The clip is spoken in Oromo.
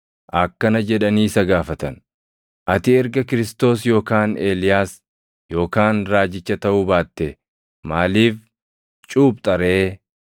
akkana jedhanii isa gaafatan; “Ati erga Kiristoos yookaan Eeliyaas yookaan raajicha taʼuu baattee maaliif cuuphxa ree?”